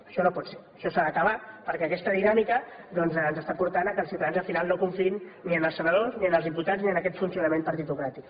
això no pot ser això s’ha d’acabar perquè aquesta dinàmica doncs ens està portant que els ciutadans al final no confiïn ni en els senadors ni en els diputats ni en aquest funcionament partitocràtic